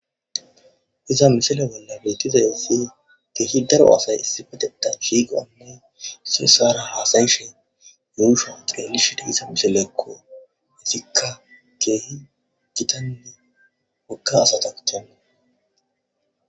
iza mishile bolla bettizayissi keehi daro asay issi fetetan shiiqonne su saara haasayi shin yuusho qreelishide isa mishilekko hizikka keehi gitanni wokka asata cen